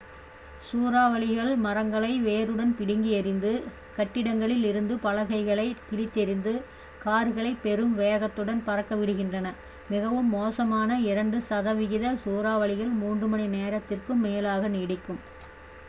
சூறாவளிகள் மரங்களை வேருடன் பிடுங்கி எறிந்து கட்டிடங்களில் இருந்து பலகைகளைக் கிழித்தெறிந்து கார்களைப் பெரும் வேகத்துடன் பறக்க விடுகின்றன மிகவும் மோசமான இரண்டு சதவிகித சூறாவளிகள் மூன்று மணி நேரத்திற்கும் மேலாக நீடிக்கும்